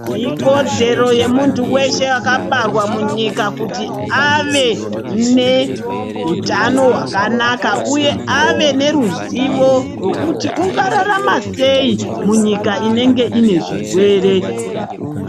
Ikodzero yemuntu weshe akabarwa munyika kuti ave neutano hwakanaka, uye ave neruzivo rwekuti ungararama sei munyika inenge ine zvirwere.